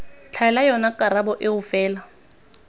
tlhaela yona karabo eo fela